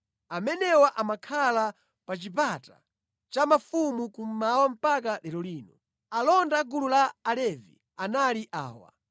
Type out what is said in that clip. Amenewa amakhala pa chipata cha mfumu kummawa mpaka lero lino. Alonda a gulu la Alevi anali awa: